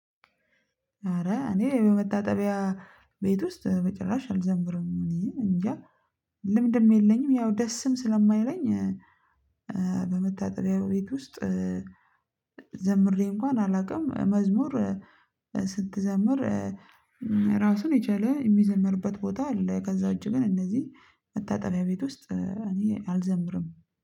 ኧረ እኔ በመታጠቢያ ቤት ውስጥ በጭራሽ አልዘምርም። እኔ እንጃ ልምድም የለኝም፤ ያው ደስም ስለማይለኝ በመታጠሪያው ቤት ውስጥ ዘምሬ እንኳን አላውቅም። መዝሙር ስትዘምር ራሱን የቻለ የሚዘመርበት ቦታ አለ፤ ከዛ ውጭ ግን እነዚህ መታጠቢያ ቤት ውስጥ እኔ አልዘምርም።